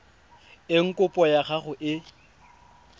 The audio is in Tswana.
eng kopo ya gago e